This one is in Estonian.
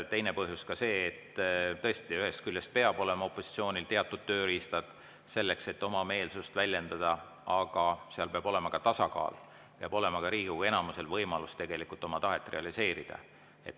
Teine põhjus on see, et tõesti, ühest küljest peavad opositsioonil olema teatud tööriistad, selleks et oma meelsust väljendada, aga peab olema ka tasakaal, ka Riigikogu enamusel peab olema võimalus oma tahet realiseerida.